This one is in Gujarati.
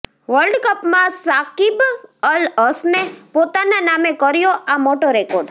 વર્લ્ડ કપમાં શાકિબ અલ હસને પોતાના નામે કર્યો આ મોટો રેકોર્ડ